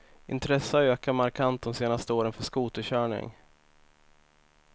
Intresset har ökat markant de senaste åren för skoterkörning.